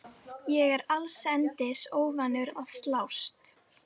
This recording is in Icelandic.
Ég er allsendis óvanur að slást.